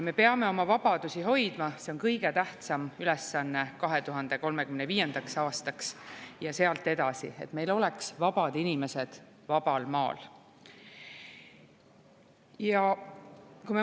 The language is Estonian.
Me peame oma vabadusi hoidma, see on kõige tähtsam ülesanne 2035. aastaks ja sealt edasi: et meil oleks vabad inimesed vabal maal.